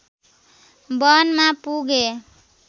वनमा पुगे